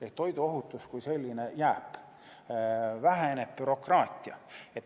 Ehk toiduohutus kui selline jääb, väheneb bürokraatia.